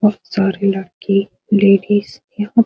बहुत सारे लड़के लेडिस यहाँ --